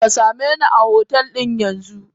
Kasameni a hotel yanzu!